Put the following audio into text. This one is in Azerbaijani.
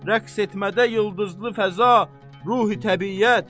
Rəqs etmədə yıldızlı fəza, ruh-u-təbiət.